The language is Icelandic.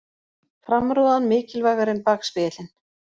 Framrúðan mikilvægari en bakspegillinn